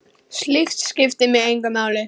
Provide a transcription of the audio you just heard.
Slíkt skiptir mig engu máli.